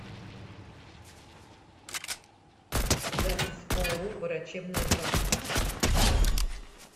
запись ооо врачебная практика